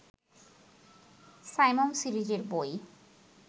সাইমুম সিরিজের বই